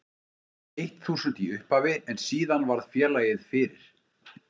eitt þúsund í upphafi en síðan varð félagið fyrir